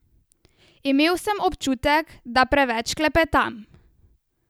Imel sem občutek, da preveč klepetam.